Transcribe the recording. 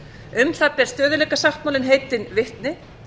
um það ber stöðugleikasáttmálinn heitin vitni